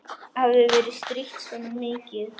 Hafði verið strítt svona mikið.